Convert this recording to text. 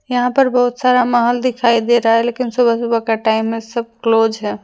यहां पर बहुत सारा महल दिखाई दे रहा है लेकिन सुबह सुबह का टाइम है सब क्लोज है।